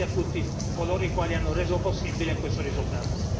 Quindi grazie a tutti coloro i quali hanno reso possibile questo risultato.